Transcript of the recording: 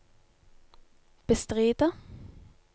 bestride